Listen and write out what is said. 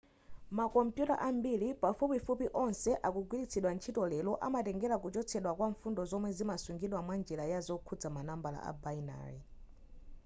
makompuyuta ambiri pafupifupi onse akugwiritsidwa ntchito lero amatengera kuchotsedwa kwa mfundo zomwe zimasungidwa mwa njira ya zokhuza ma nambala a binary